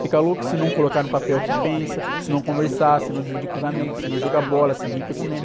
Ficam loucos se não colocar no papel o que pensam, se não conversar, se não dividir com os amigos, se não jogar bola, se não ir para o cinema.